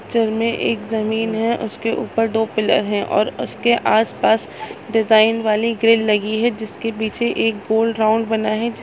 Picture में एक जमीन है उसके ऊपर दो पिलर है और उसके आस पास डिज़ाइन वाली ग्रिल लगी है जिससे पीछे एक गोल राउन्ड बना है।